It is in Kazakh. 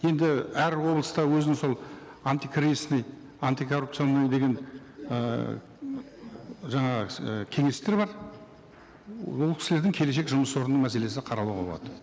енді әр облыста өзінің сол антикризисный антикоррупционный деген ііі жаңағы ііі кеңестер бар ол кісілердің келешек жұмыс орнының мәселесі қаралуға болады